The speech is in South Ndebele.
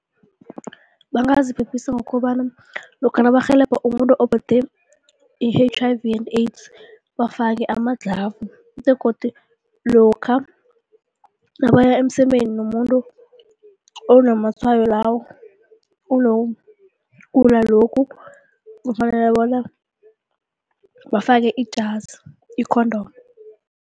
Bangaziphephisa ngokobana lokha nabarhelebha umuntu ophethwe yi-H_I_V and AIDS, bafake amaglavu begodu lokha nabaya emsemeni nomuntu onamatshwayo lawo, wokugula lokhu kufanele bona bafake ijazi, i-condom.